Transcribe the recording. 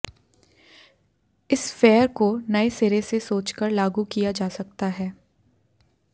इस फेयर को नए सिरे से सोचकर लागू किया जा सकता है